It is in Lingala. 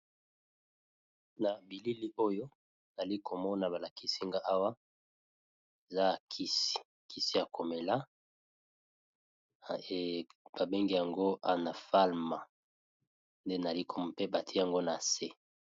Na bilili oyo nazali komona balakisi nga awa eza kisi ya komela kombo nango Anaflam batye yango nase.